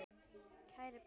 Kæri pabbi.